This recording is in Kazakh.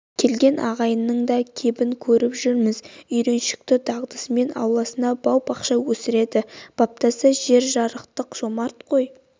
келген ағайынның да кебін көріп жүрміз үйреншікті дағдысымен ауласына бау-бақша өсіреді баптаса жер жарықтық жомарт қой